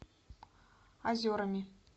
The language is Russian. озерами